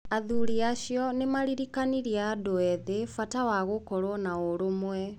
Athuri acio nĩ maaririkanirie andũ ethĩ bata wa gũkorũo na ũrũmwe.